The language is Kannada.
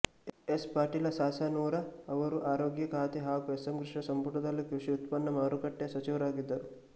ಎಸ್ ಪಾಟೀಲ ಸಾಸನೂರ ಅವರು ಆರೋಗ್ಯ ಖಾತೆ ಹಾಗೂ ಎಸ್ ಎಂ ಕೃಷ್ಣ ಸಂಪುಟದಲ್ಲಿ ಕೃಷಿ ಉತ್ಪನ್ನ ಮಾರುಕಟ್ಟೆ ಸಚಿವರಾಗಿದ್ದರು